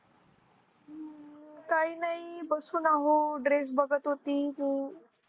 काही नाही, बसून आहो dress बघत होती हम्म